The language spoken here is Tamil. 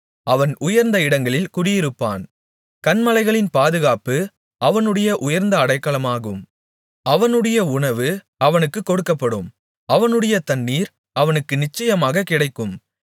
அவன் உயர்ந்த இடங்களில் குடியிருப்பான் கன்மலைகளின் பாதுகாப்பு அவனுடைய உயர்ந்த அடைக்கலமாகும் அவனுடைய உணவு அவனுக்குக் கொடுக்கப்படும் அவனுடைய தண்ணீர் அவனுக்கு நிச்சயமாகக் கிடைக்கும்